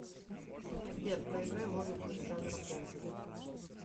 сбер проиграй музыку из жанра поп